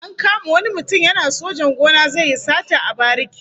An kama wani mutum yana sojan gona zai yi sata a bariki